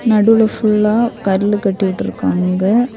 நடுவுல ஃபுல்லா கருலு கட்டிவிட்ருக்காங்க.